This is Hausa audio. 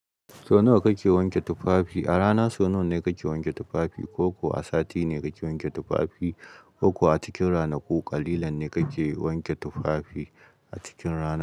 Sau nawa kake wanke tufafi? A rana sau nawa ne kake wanke tufafi, ko ko a sati ne kake wanke tufafi, ko ko a cikin ranaku ƙalilan ne kake wanke tufafi a cikin rana?